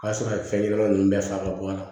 O y'a sɔrɔ a ye fɛn ɲɛnama ninnu bɛɛ faga ka bɔ a la